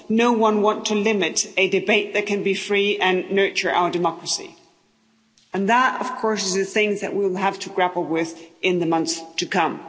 No one wants to limit a debate that can be free and nurture our democracy and that, of course, is the thing that we will have to grapple with in the months to come.